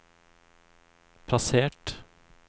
plassert